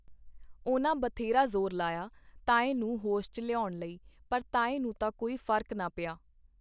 ਉਹਨਾਂ ਬ੍ਥੇਰਾ ਜੋਰ ਲਾਇਆ ਤਾਏ ਨੂੰ ਹੋਸ਼ ਚ ਲਿਓਨ ਲਈ ਪਰ ਤਾਏ ਨੂੰ ਤਾਂ ਕੋਈ ਫਰਕ ਨਾ ਪਿਆ .